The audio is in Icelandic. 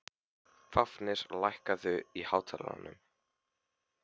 Fáfnir, lækkaðu í hátalaranum.